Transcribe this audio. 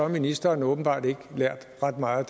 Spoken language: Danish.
ministeren åbenbart ikke lært ret meget